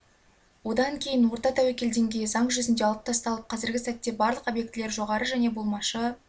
одан кейін орта тәуекел деңгейі заң жүзінде алып тасталып қазіргі сәтте барлық объектілер жоғары және болмашы